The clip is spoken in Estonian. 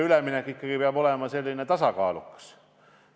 Üleminek peab olema ikkagi tasakaalukas.